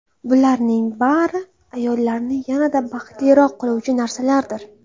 Bularning bari – ayollarni yanada baxtliroq qiluvchi narsalardir.